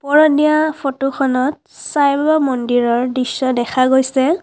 ওপৰত দিয়া ফটো খনত চাইবাবা মন্দিৰৰ দৃশ্য দেখা গৈছে।